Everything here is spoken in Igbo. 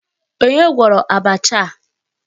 Onye gwọrọ abacha a?